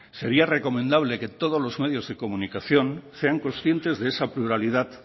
sería recomendable que todos los medios de comunicación sean conscientes de esa pluralidad